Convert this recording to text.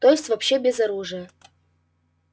то есть вообще без оружия